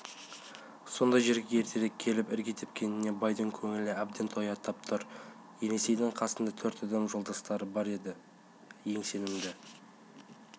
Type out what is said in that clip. сондай жерге ертерек келіп ірге тепкеніне байдың көңілі әбден тояттап тұр есенейдің қасында төрт адам жолдастары бар еді ең сенімді